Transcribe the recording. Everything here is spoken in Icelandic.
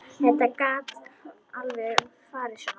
Þetta gat alveg farið svona.